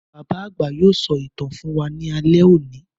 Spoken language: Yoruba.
Bàbá àgbà yóò sọ ìtàn fún wa ní alẹ́ òní